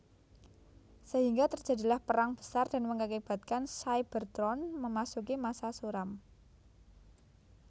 Sehingga terjadilah perang besar dan mengakibatkan Cybertron memasuki masa suram